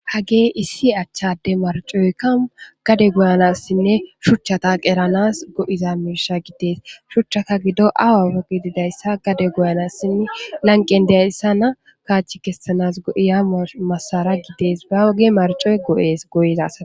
Hage issi achchade marcoykka gade goyanassinne shuchchataq eranas go7iza mirsha giddees shuchchaka gido awa foqi didayssa gade goyanassinne lanqen deayssa na kaachi kessanas go7iya masara gidees ba woge marcoy go7ees goyizas.